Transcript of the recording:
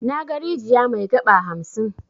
Naga rijiya mai 'gaba' hamsin.